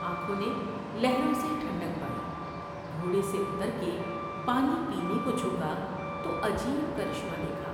آنکھوں نے لہروں سے ٹھنڈک پائی گھوڑے سے اتر کے پانی پینے کو جھکا تو عجیب کرشمہ دیکھا ۔